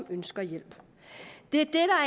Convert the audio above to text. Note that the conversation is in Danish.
og ønsker hjælp det er